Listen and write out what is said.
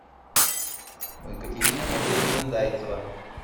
екатерина валерьевна зайцева